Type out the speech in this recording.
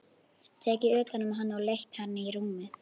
Tekið utan um hann og leitt hann í rúmið.